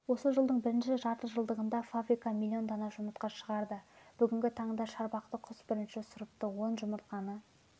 осы жылдың бірінші жартыжылдығында фабрика миллион дана жұмыртқа шығарды бүгінгі таңда шарбақты-құс бірінші сұрыпты он жұмыртқаны